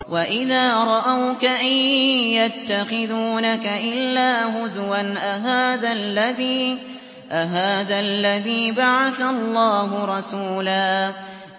وَإِذَا رَأَوْكَ إِن يَتَّخِذُونَكَ إِلَّا هُزُوًا أَهَٰذَا الَّذِي بَعَثَ اللَّهُ رَسُولًا